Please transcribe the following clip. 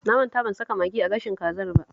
Na manta ban saka magi a gashin kazar ba